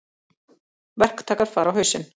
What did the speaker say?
Verktakar fara á hausinn.